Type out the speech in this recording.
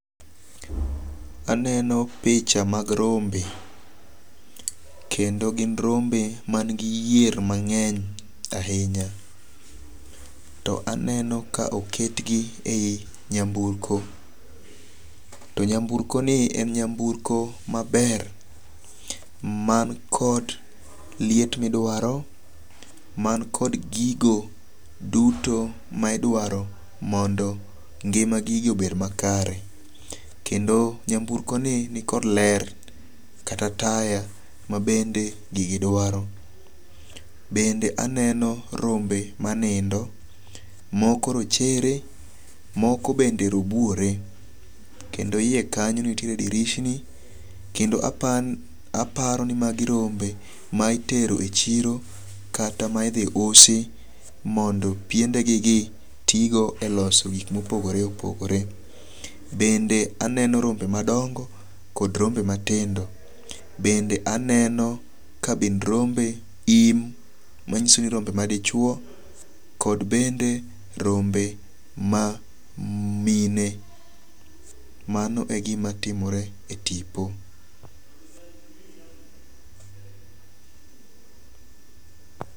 Aneno picha mag rombe. Kendo gin rombe man gi yier mang'eny ahinya. To aneno ka oketgi e yi nyamburko. To nyamburko ni en nyamburko maber man kod liet midwaro, man kod gigo duto ma idwaro mondo ngima gigi obed makare. Kendo nyamburko ni nikod ler kata taya mabende gigi dwaro. Bende aneno rombe manindo. Moko rochere, moko bende robuore. Kendo yie kanyo nitiere dirisni. Kendo aparo ni magi rome ma itereo e chiro kata ma idhi usi mondo piende gi gi tigo e loso gik mopogore opogore. Bende aneno rombe madongo kod rombe matindo. Bende aneno kabind rombe, im, manyiso ni rombe madichuo kod bende rombe ma mine. Mano e gima timore e tipo.